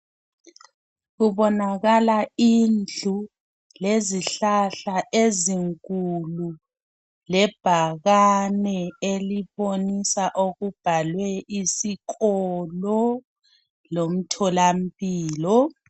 Kubonakala indlu lezihlahla ezinkulu, lebhakane elibonisa okubhalwe isikolo lomtholampilo.